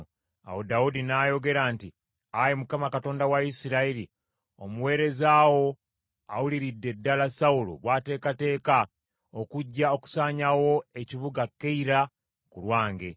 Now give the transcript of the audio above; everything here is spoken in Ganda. Awo Dawudi n’ayogera nti, “Ayi Mukama Katonda wa Isirayiri, omuweereza wo awuliridde ddala Sawulo bw’ateekateeka okujja okusaanyaawo ekibuga Keyira ku lwange.